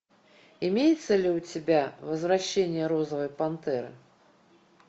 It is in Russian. имеется ли у тебя возвращение розовой пантеры